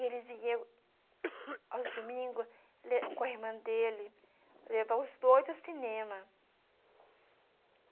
E ele vinha aos domingos le com a irmã dele levar os dois ao cinema.